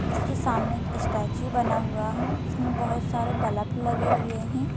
इसके सामने एक स्टैच्यू बना हुआ है। इसमें बहुत सारे बलप लगे हुए हैं।